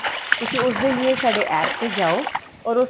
ਤੁਸੀਂ ਉਸ ਦੇ ਲਿਏ ਸਾਡੇ APP ਤੇ ਜਾਉ or ਉਸ ਤੋਂ